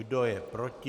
Kdo je proti?